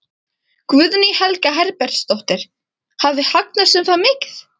Guðný Helga Herbertsdóttir: Hafi hagnast um það mikið?